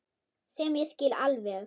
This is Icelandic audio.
Sem ég skil alveg.